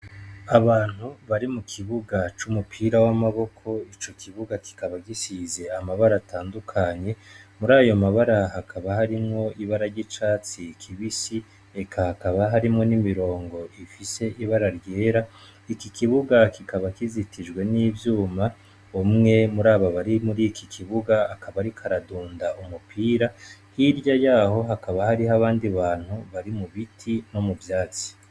Abantu bari mu kibuga c'umupira w'amaboko, ico kibuga kikaba gisize amabara atandukanye, murayo mabara hakaba harimwo ibara ry'icatsi kibisi, eka hakaba harimwo n'imirongo ifise ibara ryera, iki kibuga kikaba kizitijwe n'ivyuma, umwe murabo bari muriki kibuga akaba ariko aradunda umupira, hirya yaho hakaba hariho abandi bantu bari mu biti no mu vyatsi.